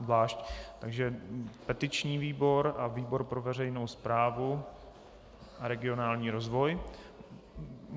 Zvlášť, takže petiční výbor a výbor pro veřejnou správu a regionální rozvoj.